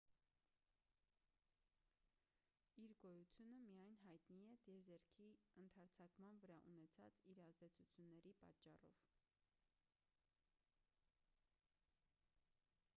իր գոյությունը միայն հայտնի է տիեզերքի ընդարձակման վրա ունեցած իր ազդեցությունների պատճառով